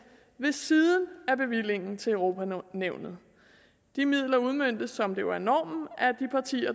ved siden af bevillingen til europa nævnet de midler udmøntes som det jo er normen